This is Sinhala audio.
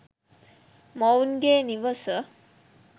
මොවුන්ගේ නිවස